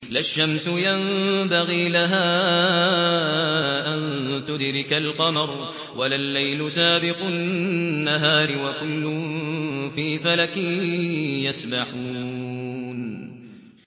لَا الشَّمْسُ يَنبَغِي لَهَا أَن تُدْرِكَ الْقَمَرَ وَلَا اللَّيْلُ سَابِقُ النَّهَارِ ۚ وَكُلٌّ فِي فَلَكٍ يَسْبَحُونَ